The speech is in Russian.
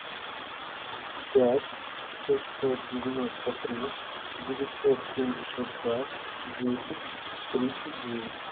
пять шестьсот девяносто три девятьсот семьдесят два десять тридцать девять